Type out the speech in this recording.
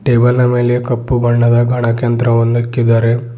ಟೇಬಲ್ನ ಮೇಲೆ ಕಪ್ಪು ಬಣ್ಣದ ಗಣಕ ಯಂತ್ರವನ್ನು ಇಕ್ಕಿದ್ದಾರೆ.